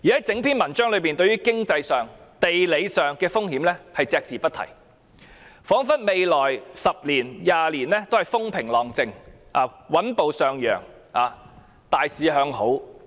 整篇文章對經濟和地理風險隻字不提，彷彿未來10年至20年都風平浪靜、穩步上揚、大市向好。